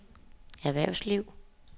erhvervsliv